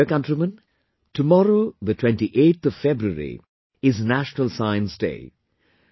My dear countrymen, tomorrow the 28th of February is 'National Science Day'